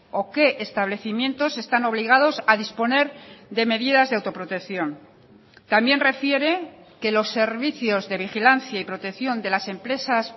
o qué establecimientos están obligados a disponer de medidas de autoprotección también refiere que los servicios de vigilancia y protección de las empresas